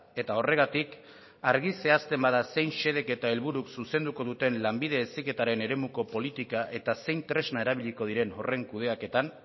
eta horregatik argi zehazten bada zein xedek eta helburuk zuzenduko duten lanbide heziketaren eremuko politika eta zein tresna erabiliko diren horren kudeaketan